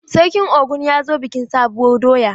Sarkin Ogun ya zo bikin sabuwur doya.